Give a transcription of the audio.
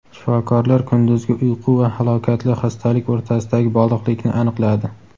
Shifokorlar kunduzgi uyqu va halokatli xastalik o‘rtasidagi bog‘liqlikni aniqladi.